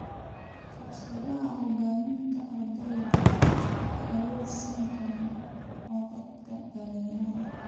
Fursadaha hogaaminta ardaydu waxay awood siin karaan codadka dhalinyarada.